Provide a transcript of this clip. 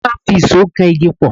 A máa ń fi ìṣó kan igi pọ̀.